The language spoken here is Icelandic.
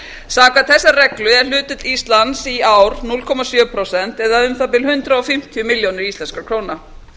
samkvæmt þessari reglu er hlutdeild íslands í ár núll komma sjö prósent eða um það bil hundrað og fimmtíu milljónir íslenskra króna